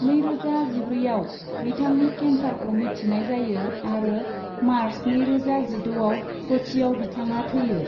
नैरोजा जिब्रैआव बिथांनि केन्सारखौ मिथिनाय जायो आरो मार्च नैरोजा जिद'आव कच्चिआव बिथाङा थैयो।